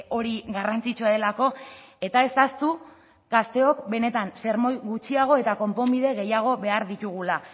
hori garrantzitsua delako eta ez ahaztu gazteok benetan sermoi gutxiago eta konponbide gehiago behar ditugula